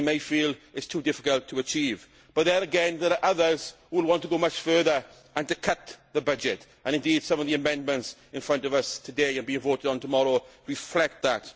They may feel it is too difficult to achieve but, there again, there are others who will want to go much further and to cut the budget, and indeed some of the amendments in front of us today to be voted on tomorrow reflect that.